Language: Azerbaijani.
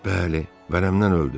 Bəli, vərəmdən öldü.